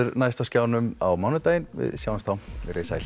næst á skjánum á mánudaginn við sjáumst þá veriði sæl